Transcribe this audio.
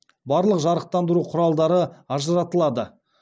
барлық жарықтандыру құралдары ажыратылады